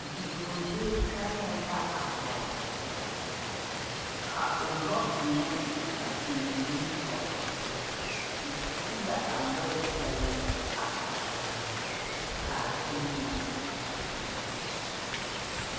Bidɔglee gangɛɛ la a vɔgli poɔ ka ɔ lɔɔ deɛne a beng nimitoore ɔ te la a lɔɔri kyelii a tagraa kaa kyelii na a tuuro.